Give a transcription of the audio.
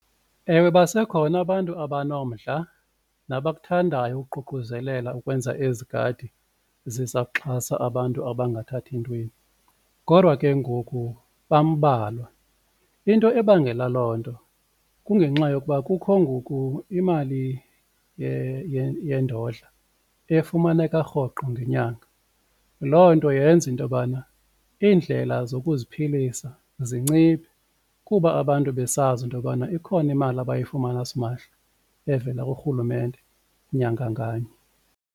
Ewe, basekhona abantu abanomdla nabakuthandayo ukuququzelela ukwenza ezi gadi ziza kuxhasa abantu abangathathi ntweni. Kodwa ke ngoku bambalwa into ebangela loo nto kungenxa yokuba kukho ngoku imali yendodla efumaneka rhoqo ngenyanga, loo nto yenza into bana iindlela zokuziphilisa zinciphe kuba abantu besazi into yobana ikhona imali abayifumana simahla evela kurhulumente nyanga nganye.